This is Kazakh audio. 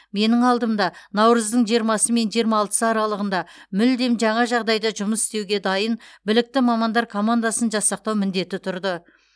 менің алдымда наурыздың жиырмасы мен жиырма алтысы аралығында мүлдем жаңа жағдайда жұмыс істеуге дайын білікті мамандар командасын жасақтау міндеті тұрды